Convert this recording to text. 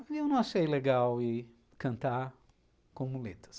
Eu não achei legal ir cantar com muletas.